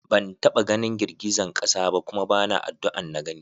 Ban taɓa ganin girgizan ƙasa ba kuma bana addu'an na gani.